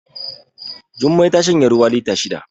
Jummai ta shanye ruwa lita shida